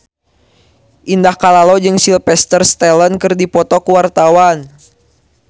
Indah Kalalo jeung Sylvester Stallone keur dipoto ku wartawan